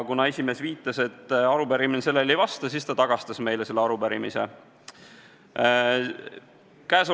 Esimees viitas, et arupärimine sellele nõudele ei vasta, ja ta saatis meile selle arupärimise tagasi.